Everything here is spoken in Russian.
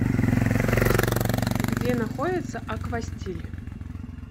где находится аквастиль